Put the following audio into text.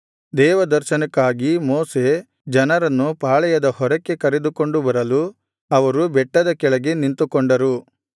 ದೇವದರ್ಶನಕ್ಕಾಗಿ Moshe ಜನರನ್ನು ಪಾಳೆಯದ ಹೊರಕ್ಕೆ ಕರೆದುಕೊಂಡು ಬರಲು ಅವರು ಬೆಟ್ಟದ ಕೆಳಗೆ ನಿಂತುಕೊಂಡರು